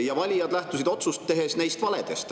Ja valijad lähtusid otsust tehes neist valedest.